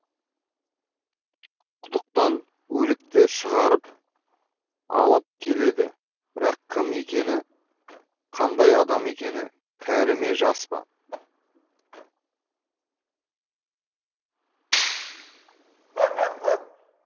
құдықтан өлікті шығарып алып келеді бірақ кім екені қандай адам екені кәрі ме жас па